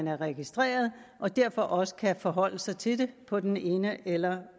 er registreret og derfor også kan forholde sig til det på den ene eller